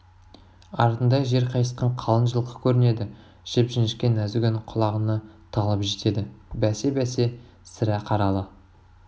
артында жер қайысқан қалың жылқы көрінеді жіп-жіңішке нәзік үн құлағына талып жетеді бәсе бәсе сірә қаралы